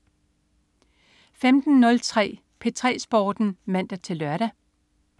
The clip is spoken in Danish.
15.03 P3 Sporten (man-lør)